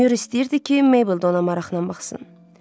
Myor istəyirdi ki, Meybl ona maraqla baxsın.